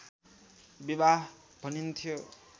विवाह भनिन्थ्यो